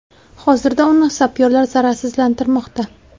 Hozirda uni sapyorlar zararsizlantirmoqda.